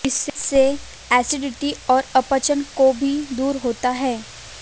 इससे एसिडिटी और अपच को भी दूर होता है